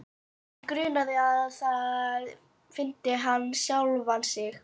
Hann grunaði að þar fyndi hann sjálfan sig fyrir.